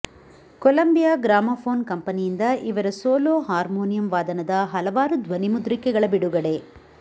Columbia gramophone ಕಂಪನಿಯಿಂದ ಇವರ solo harmonium ವಾದನದ ಹಲವಾರು ಧ್ವನಿಮುದ್ರಿಕೆಗಳ ಬಿಡುಗಡೆ